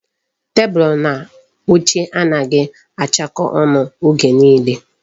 Tebụl na oche anaghị achakọ ọnụ oge nile.